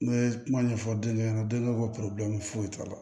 N bɛ kuma ɲɛfɔ denkɛ ɲɛna denba ko foyi t'a la